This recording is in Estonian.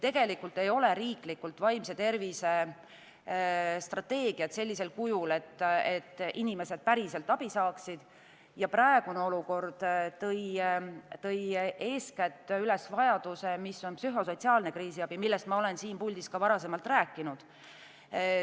Meil ei ole riiklikult vaimse tervise strateegiat sellisel kujul, et inimesed päriselt abi saavad ja praegune olukord tõi eeskätt üles vajaduse psühho-sotsiaalse kriisiabi, millest ma olen siin puldis ka varem rääkinud, järele.